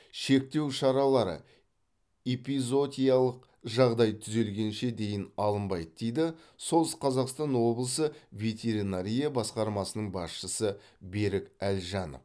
шектеу шаралары эпизоотиялық жағдай түзелгенше дейін алынбайды дейді солтүстік қазақстан облысы ветеринария басқармасының басшысы берік әлжанов